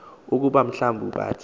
ukuba mhlawumbi bathe